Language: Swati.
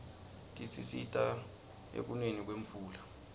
tisisita ekuneni kwemvula